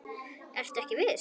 Ertu ekki viss?